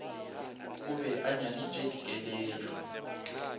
o be a nyaditše dikeletšo